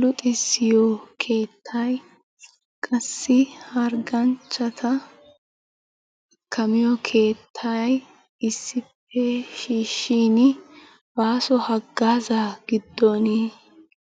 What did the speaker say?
Luxxissiyo keettay qassi hargganchchata kammiyo keettay issippe shiishin baasso hagaazzaa giddoni